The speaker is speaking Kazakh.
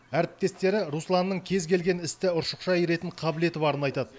әріптестері русланның кез келген істі ұршықша иіретін қабілеті барын айтады